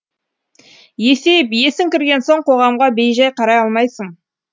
есейіп есің кірген соң қоғамға бейжай қарай алмайсың